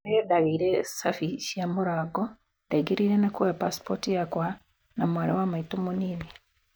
Rĩrĩa ndagĩire sabi cia mũrango ndaingĩrire na kwoya pasipoti yakwa na ya mwarĩĩwa maitũ mũnini